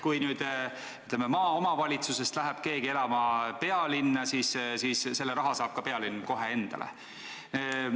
Kui maaomavalitsusest läheb keegi elama pealinna, siis selle raha saab pealinn kohe endale.